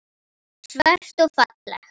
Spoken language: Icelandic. Svört og falleg.